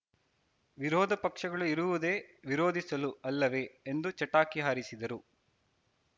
ವಿರೋಧ ಪಕ್ಷಗಳು ಇರುವುದೇ ವಿರೋಧಿಸಲು ಅಲ್ಲವೇ ಎಂದು ಚಟಾಕಿ ಹಾರಿಸಿದರು